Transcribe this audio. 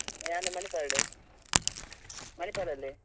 ಯಾನ್ Manipal ಡ್ Manipal ಡ್ ಉಲ್ಲೇ .